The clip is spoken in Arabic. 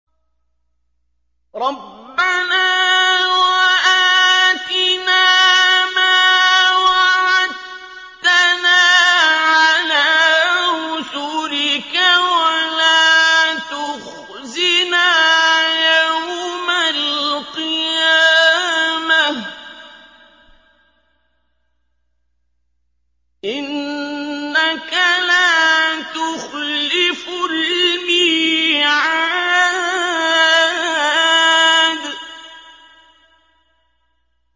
رَبَّنَا وَآتِنَا مَا وَعَدتَّنَا عَلَىٰ رُسُلِكَ وَلَا تُخْزِنَا يَوْمَ الْقِيَامَةِ ۗ إِنَّكَ لَا تُخْلِفُ الْمِيعَادَ